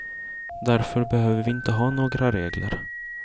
Därför behöver vi inte ha några regler.